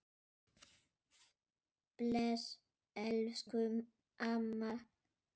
Bless elsku amma.